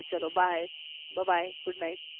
ચલો bye બ bye good night